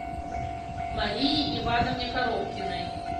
марии ивановне коробкиной